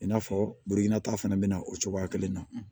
I n'a fɔ burukina ta fana bi na o cogoya kelen na